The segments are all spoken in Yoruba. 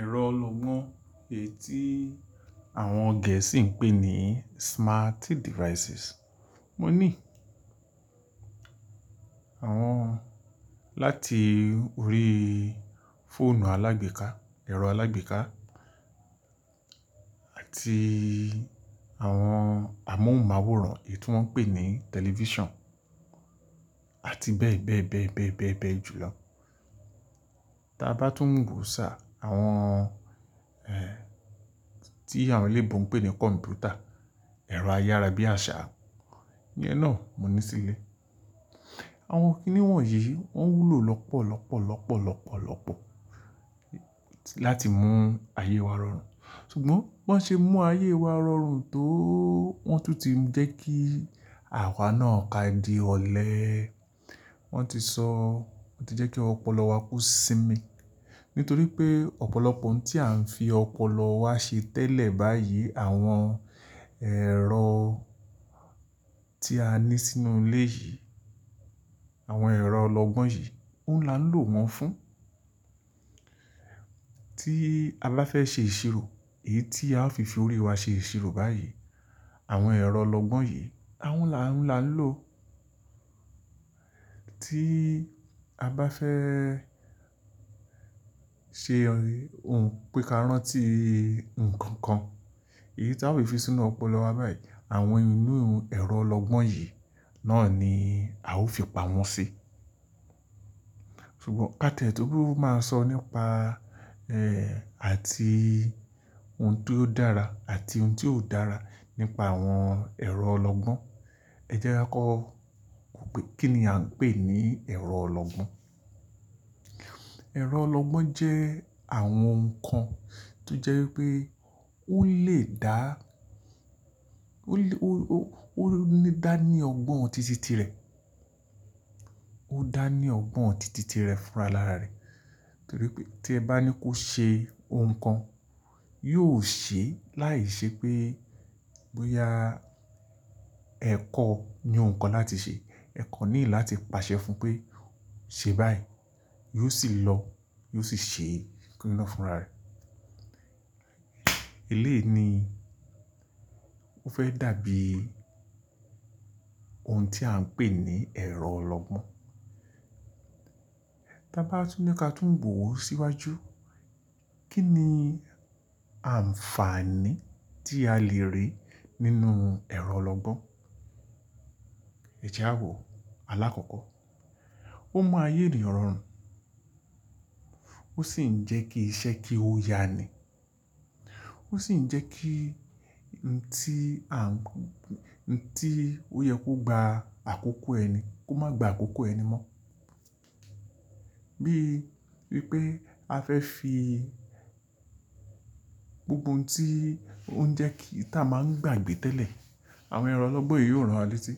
Ẹ̀rọ ọlọgbọ́n èyí tí àwọn Gẹ̀ẹ́sì ń pè ní smart devices. Mo ní àwọn láti orí fóònù alágbèéká, ẹ̀rọ alágbèéká àti àwọn amóhùnmáwòrán èyí tí wọ́n ń pè ní tẹlifíṣàn àti bẹ́ẹ̀ bẹ́ẹ̀ bẹ́ẹ̀ bẹ́ẹ̀ bẹ́ẹ̀ bẹ́ẹ̀ jùlọ. Tàbá tún ń gùn sá àwọn tí àwọn eléibo ń pè ní kọ̀m̀pútà, ẹ̀rọ ayára bí àṣá, iye náà mò ní sílé. Àwọn kíní wọ̀nyí wọ́n wúlò lọ́pọ̀ lọ́pọ̀ lọ́pọ̀ lọ́pọ̀ lọ́pọ̀ láti mú ayé wa rọrùn. Sugbon wọ́n ṣe mú ayé wa rọrùn tó wọ́n tún ti ń jẹ́ kí àwa náà ká di ọ̀lẹ. Wọ́n ti sọ, wọ́n ti jẹ́ kí ọpọlọ wa ko sími. Nítorí pé ọ̀pọ̀lọpọ̀ ohun tí à ń fi ọpọlọ wa ṣe tẹ́lẹ̀ báyìí àwọn ẹ̀rọ tí a ní sínú ilé yìí, àwọn ẹ̀rọ ọlọgbọ́n yìí ǹ la ń lò wọ́n fún. Tí alá fẹ́ ṣe ìṣirò, èyí tí a ó fi fi orí wa ṣe ìṣirò báyìí, àwọn ẹ̀rọ ọlọgbọ́n yìí à ń la ń lò. Tí a bá fẹ́ ṣe ohun píkàran tí nǹkan kan, èyí tí a ó fi sínú ọpọlọ wa báyìí, àwọn inú ẹ̀rọ ọlọgbọ́n yìí náà ni a ó fi pa wọ́n si. Sugbon ka tẹ́lẹ̀ tó bá máa sọ nípa àti ohun tó dára àti ohun tí ò dára nípa àwọn ẹ̀rọ ọlọgbọ́n, ẹ jẹ́rán kọ́ kíni à ń pè ní ẹ̀rọ ọlọgbọ́n. Ẹ̀rọ ọlọgbọ́n jẹ́ àwọn nǹkan tí jẹ́ pé ó lè dá, ó lé ó ó ó ó ní dání ọgbọ́n títítí rẹ̀, ó dání ọgbọ́n títítí rẹ̀ fúnra ara rẹ̀. Nítorí pé tí ẹ bá ní kó ṣe ohun kan, yóò ṣe ẹ́ láìṣẹ́ pé bóyá ẹ̀kọ́ ni ohun kan láti ṣe, ẹ̀kọ́ ní láti pàṣẹ fún un pé "ṣe báyìí", yóò sì lọ, yóò sì ṣe kini ná fúnra rẹ̀. Elé ni ó fẹ́ dà bí ohun tí à ń pè ní ẹ̀rọ ọlọgbọ́n. Tàbá tún ní pé ka tún wò ó síwájú. Kí ni ànfààní tí a lè rí nínú ẹ̀rọ ọlọgbọ́n? Ẹ jẹ́ wò, alákọ̀ọ́kọ́, ó máa yé ìrì ọ̀rọ̀ rùn ó sì ń jẹ́ kí iṣẹ́ kí ó ya ni. Ó sì ń jẹ́ kí ǹ tí ó yẹ kó gba àkókò ẹni kó má gba àkókò ẹni mọ́. Bí i pé a fẹ́ fi gbogbo ohun tí ó ń jẹ́ kí a máa ń gbàgbé tẹ́lẹ̀, àwọn ẹ̀rọ ọlọ́gbọ́n yìí yóò rán wa létí.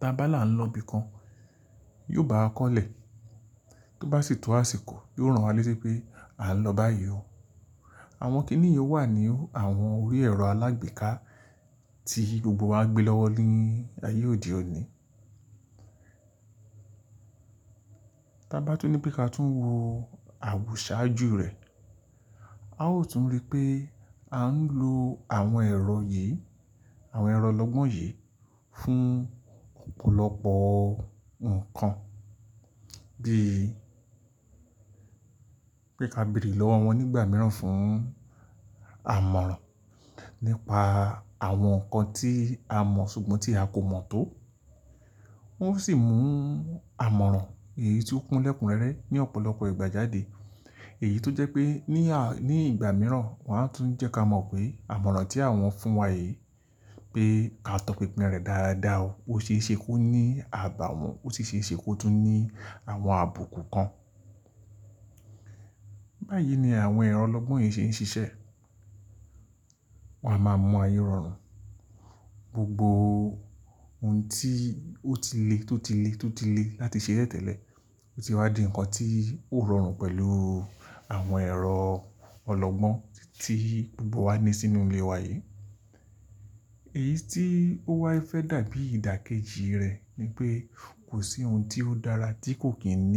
Tàbá la ń lọ ibi kan, yóò bá wa kọ́lẹ̀. Tó bá sì tó àsìkò, yóò ran wá létí pé "à ń lọ báyìí o". Àwọn kíní yí wà ní àwọn orí ẹ̀rọ alágbèéká tí gbogbo wa gbé lọ́wọ́ lẹ́yìn ayé òde òní. Tàbá tún ní pé ka tún wo àwùṣà ájú rẹ̀. A ó tún rí pé a ń lo àwọn ẹ̀rọ yìí, àwọn ẹ̀rọ ọlọgbọ́n yìí fún ọ̀pọ̀lọpọ̀ nǹkan, bíi pé ka bírì lọ́wọ́ wọn nígbà mìíràn fún àmọ̀ràn nípa àwọn nǹkan tí a mọ̀ ṣùgbọ́n tí a kò mọ̀ tó. Wọ́n sì ń mú àmọ̀ràn èyí tí ó kún lẹ̀kùn rẹ́rẹ́ ní ọ̀pọ̀lọpọ̀ ìgbà jáde. Èyí tó jẹ́ pé ní ní ìgbà mìíràn, wọn á tún jẹ́ ka mọ̀ pé àmọ̀ràn tí wọ́n fún wa yi, pé ka tọpinpin rẹ̀ dáradá o. O ṣe é ṣe kó ní àbàwọ́n, o ṣe é ṣe kó tún ní àwọn àbùkù kan. Báyìí ni àwọn ẹ̀rọ ọlọ́gbọ́n yìí ṣe ń ṣiṣẹ́. Wọn a máa mọ ayé rọrùn. Gbogbo ohun tí ó ti lé, tó ti lé, tó ti lé láti ṣe tẹ́lẹ̀, ó ti wá di nǹkan tí ó rọrùn pẹ̀lú àwọn ẹ̀rọ ọlọgbọ́n tí gbogbo wa ní sínú ilé wa yi. Èyí tí ó wá fẹ́ dà bí ìdákéjì rẹ̀ ni pé kò sí ohun tí ó dára tí kò kì ní.